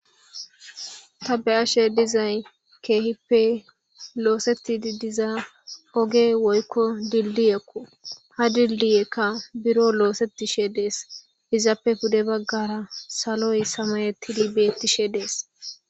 ta be'ashe dizay keehippe looseti didiza oge woykko dilliyekko ha dilliyekka biro loosetishe dees izaappe pude baggara saloy samayetidi beettishe dees